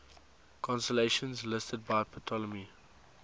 constellations listed by ptolemy